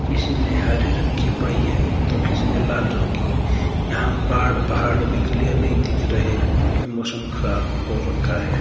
किसी ने हरे रंग की पहिए तो किसी ने लाल रंग की यहां पाड़ पहाड़ भी क्लियर नहीं दिख रहे क्योंकि मौसम खराब हो रखा है।